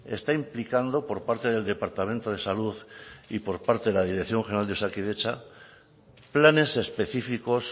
está implicando por parte del departamento de salud y por parte de la dirección general de osakidetza planes específicos